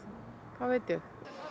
hvað veit ég